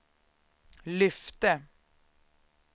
lyfte